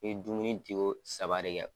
N ye dumuni di ko saba de kɛ.